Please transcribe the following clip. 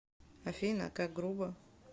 афина как грубо